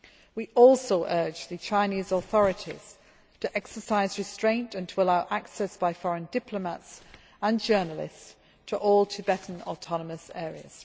We also urge the Chinese authorities to exercise restraint and to allow access by foreign diplomats and journalists to all Tibetan autonomous areas.